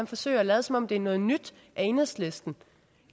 forsøger at lade som om det er noget nyt at enhedslisten